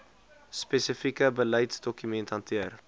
spesifieke beleidsdokumente hanteer